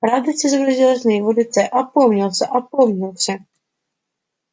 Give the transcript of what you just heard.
радость изобразилась на его лице опомнился опомнился